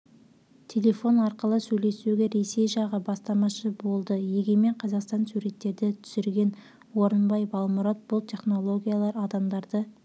телефон арқылы сөйлесуге ресей жағы бастамашы болды егемен қазақстан суреттерді түсірген орынбай балмұрат бұл технологиялар адамдарды